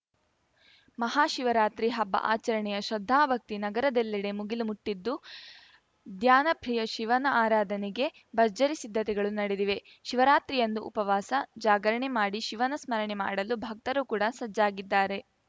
ಮಹಾಶಿವರಾತ್ರಿ ಹಬ್ಬ ಆಚರಣೆಯ ಶ್ರದ್ಧಾಭಕ್ತಿ ನಗರದೆಲ್ಲೆಡೆ ಮುಗಿಲು ಮುಟ್ಟಿದ್ದು ಧ್ಯಾನಪ್ರಿಯ ಶಿವನ ಆರಾಧನೆಗೆ ಭರ್ಜರಿ ಸಿದ್ಧತೆಗಳು ನಡೆದಿವೆ ಶಿವರಾತ್ರಿಯಂದು ಉಪವಾಸ ಜಾಗರಣೆ ಮಾಡಿ ಶಿವನ ಸ್ಮರಣೆ ಮಾಡಲು ಭಕ್ತರು ಕೂಡ ಸಜ್ಜಾಗಿದ್ದಾರೆ